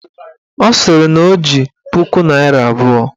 Ọ sịrị na o ji puku naịra abụọ